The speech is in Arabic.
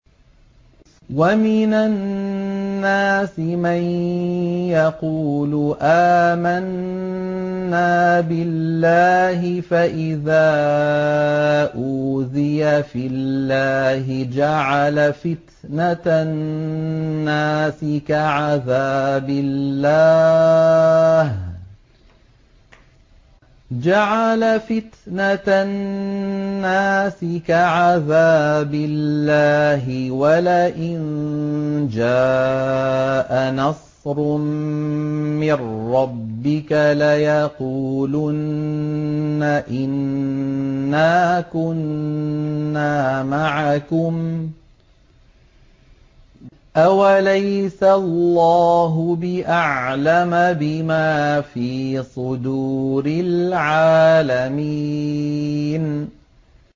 وَمِنَ النَّاسِ مَن يَقُولُ آمَنَّا بِاللَّهِ فَإِذَا أُوذِيَ فِي اللَّهِ جَعَلَ فِتْنَةَ النَّاسِ كَعَذَابِ اللَّهِ وَلَئِن جَاءَ نَصْرٌ مِّن رَّبِّكَ لَيَقُولُنَّ إِنَّا كُنَّا مَعَكُمْ ۚ أَوَلَيْسَ اللَّهُ بِأَعْلَمَ بِمَا فِي صُدُورِ الْعَالَمِينَ